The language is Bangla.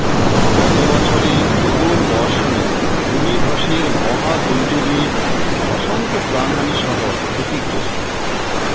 গত বছরে প্রবল বর্ষণে ভূমি ধসের মহাদূর্যোগে অসংখ্য প্রাণহানিসহ ক্ষতিগ্রস্ত